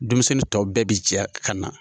Denmisɛnnin tɔw bɛɛ be jɛ ka na.